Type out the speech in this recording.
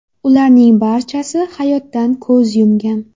Ularning barchasi hayotdan ko‘z yumgan.